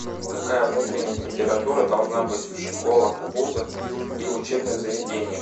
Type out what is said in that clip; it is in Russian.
какая внутренняя температура должна быть в школах вузах и учебных заведениях